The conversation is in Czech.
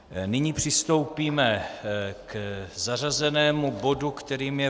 Nyní přistoupíme k zařazenému bodu, kterým je